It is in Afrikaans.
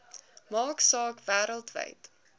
maak saak wêreldwyd